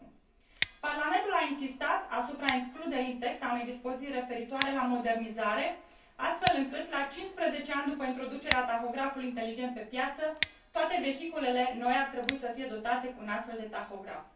1. Parlamentul a insistat asupra includerii în text a unei dispoziții referitoare la modernizare, astfel încât, la 15 ani după introducerea tahografului inteligent pe piață, toate vehiculele noi ar trebui să fie dotate cu un astfel de tahograf.